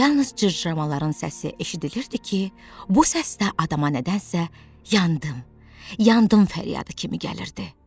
Yalnız cırcıramaların səsi eşidilirdi ki, bu səs də adama nədənsə yandım, yandım fəryadı kimi gəlirdi.